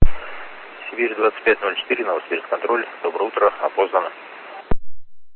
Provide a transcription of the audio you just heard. сибирь двадцать пять ноль четыре новосибирск контроль доброе утро опознан